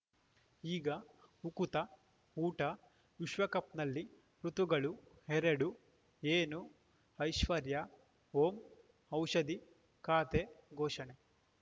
ಈಗ ಉಕುತ ಊಟ ವಿಶ್ವಕಪ್‌ನಲ್ಲಿ ಋತುಗಳು ಎರಡು ಏನು ಐಶ್ವರ್ಯಾ ಓಂ ಔಷಧಿ ಖಾತೆ ಘೋಷಣೆ